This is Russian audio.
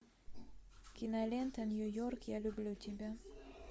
кинолента нью йорк я люблю тебя